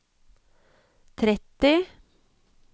tretti